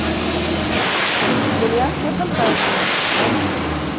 итальянские фантазии найди